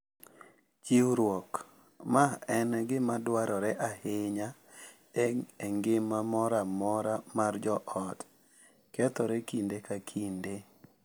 Chiwruok, ma en gima dwarore ahinya e ngima moro amora mar joot, kethore kinde ka kinde.